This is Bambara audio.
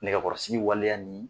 Nɛgɛkɔrɔsigi waleya ni